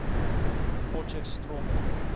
potchefstromo